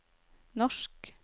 norsk